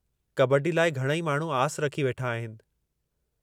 कबड्डी लाइ घणई माण्हू आस रखी वेठा आहिनि।